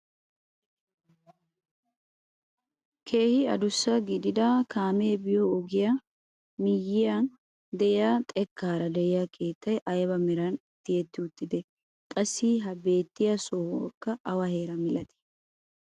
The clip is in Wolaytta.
Keehi adussa gidida kaamee biyoo ogiyaa miyiyaan de'iyaa xekkaara de'iyaa keettay ayba meran tiyetti uttidee? qassi ha beettiyaa sohoykka awa heeraa milettii?